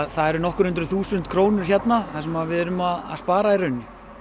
það eru nokkur hundruð þúsund krónur hérna það sem við erum að spara í rauninni